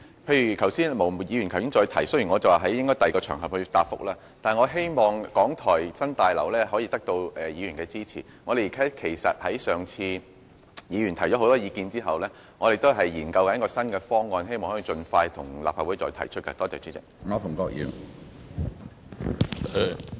毛議員剛才也提出同樣的問題，雖然我說應在其他場合解答，但我希望港台新廣播大樓能得到議員的支持，其實議員在過往已提出了不少意見，我們正在研究新方案，並希望能盡快再向立法會提出。